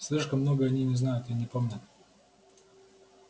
слишком много они не знают и не помнят